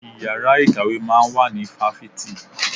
Ìyára ìkàwé máa ń wà ní fáfitì.